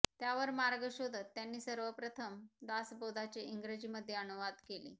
त्यावर मार्ग शोधत त्यांनी सर्वात प्रथम दासबोधाचे इंग्रजीमध्ये अनुवाद केले